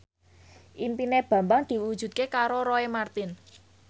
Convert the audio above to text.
impine Bambang diwujudke karo Roy Marten